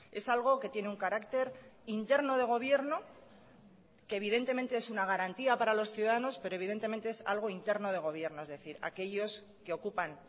es algo que tiene un carácter interno de gobierno que evidentemente es una garantía para los ciudadanos pero evidentemente es algo interno de gobierno es decir aquellos que ocupan